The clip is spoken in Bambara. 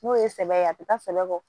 N'o ye sɛbɛ ye a bɛ taa sɛnɛ kɔ